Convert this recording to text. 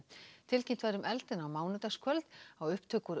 tilkynnt var um eldinn á mánudagskvöld á upptöku úr